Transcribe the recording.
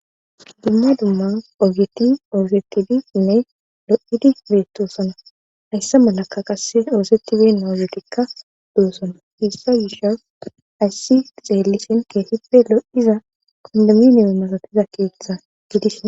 dumma dumma oogeti osietidi inne lo7idi beetosona haysse malaka qasse oosetibina ogetikka doossona hissa gisha hayssi xeellisen keehipe lo77iza konduminemi masatiza keeththe gidishin